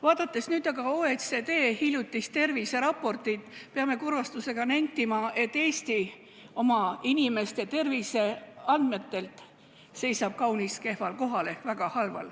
Vaadates aga OECD hiljutist terviseraportit, peame kurvastusega nentima, et Eesti seisab oma inimeste terviseandmetega kaunis kehval kohal ehk olukord on väga halb.